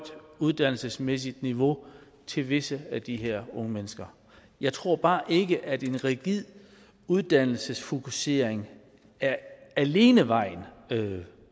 uddannelsesmæssigt niveau til visse af de her unge mennesker jeg tror bare ikke at en rigid uddannelsesfokusering alene er vejen